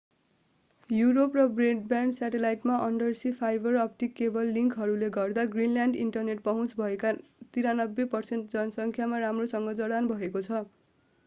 Europe र broadband स्याटेलाइटमा under sea fibre optic cable लिङ्कहरूले गर्दा ग्रिनल्यान्ड इन्टरनेट पहुँच भएका 93% जनसङ्ख्यामा राम्रोसँग जडान भएको छ